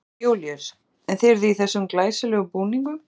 Jón Júlíus: En þið eruð í þessum glæsilegum búningum?